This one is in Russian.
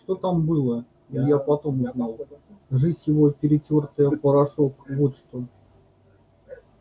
что там было илья потом узнал жизнь его перетёртая в порошок вот что